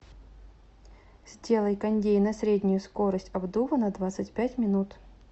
сделай кондей на среднюю скорость обдува на двадцать пять минут